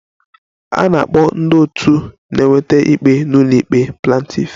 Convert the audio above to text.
A na-akpọ ndị otu na-eweta ikpe n'ụlọikpe Plantiff